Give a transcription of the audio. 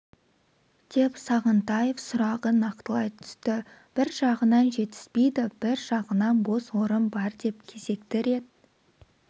деп сағынтаев сұрағын нақтылай түсті бір жағынан жетіспейді бір жағынан бос орын бар деп кезекті рет